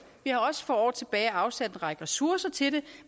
vi har også for år tilbage afsat en række ressourcer til det